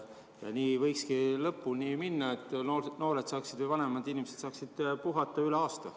Nii võikski lõpuni minna, et noored või vanemad inimesed saaksid puhata üle aasta.